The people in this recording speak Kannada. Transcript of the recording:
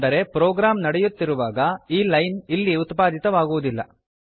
ಅಂದರೆ ಪ್ರೋಗ್ರಾಂ ನಡೆಯುತ್ತಿರುವಾಗ ಈ ಲೈನ್ ಇಲ್ಲಿ ಉತ್ಪಾದಿತವಾಗುವುದಿಲ್ಲ